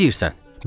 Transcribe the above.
Nə deyirsən?